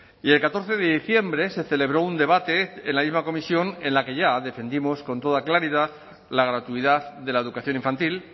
y el catorce de diciembre se celebró un debate en la misma comisión en la que ya defendimos con toda claridad la gratuidad de la educación infantil